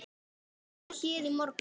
Hún var hér í morgun.